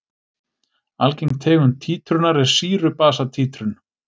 Algeng tegund títrunar er sýru-basa títrun.